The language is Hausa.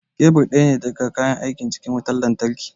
Kebur ɗaya ne daga cikin kayan aikin wutar lantarki